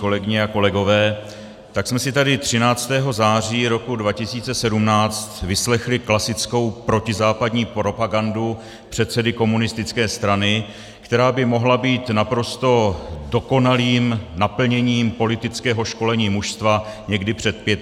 Kolegyně a kolegové, tak jsme si tady 13. září roku 2017 vyslechli klasickou protizápadní propagandu předsedy komunistické strany, která by mohla být naprosto dokonalým naplněním politického školení mužstva někdy před 35 lety.